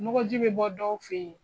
Nɔgɔnji bɛ bɔ dɔw fɛ yen.